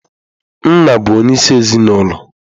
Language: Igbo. Nna bụ onyeisi ezinụlọ.